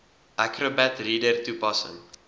acrobat reader toepassing